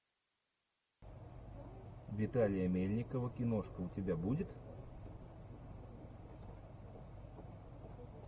виталия мельникова киношка у тебя будет